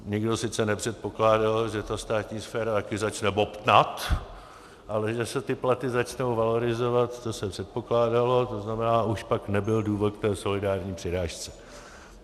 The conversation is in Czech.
Nikdo sice nepředpokládal, že ta státní sféra taky začne bobtnat, ale že se ty platy začnou valorizovat, to se předpokládalo, to znamená, už pak nebyl důvod k té solidární přirážce.